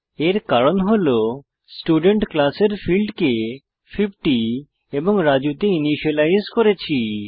এর কারণ হল স্টুডেন্ট ক্লাসের ফীল্ডকে 50 এবং রাজু তে ইনিসিয়েলাইজ করেছি